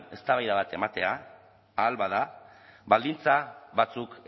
eztabaida bat ematea ahal bada baldintza batzuk